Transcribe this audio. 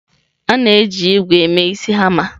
A na-eji ígwè mee isi hama.